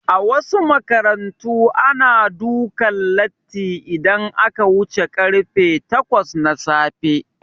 A wasu makarantu ana dukan latti idan aka wuce karfe takwas na safe